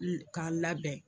N ka labɛn.